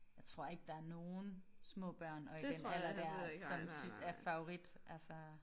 Jeg tror ikke der nogen små børn og i den alder der som er favorit altså